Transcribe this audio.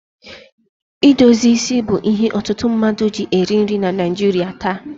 Idozi isi bụ ihe ọtụtụ mmadụ ji eri nri na Naịjirị taa.